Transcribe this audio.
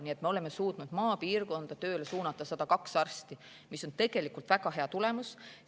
Nii et me oleme suutnud maapiirkonda tööle suunata 102 arsti, mis on tegelikult väga hea tulemus.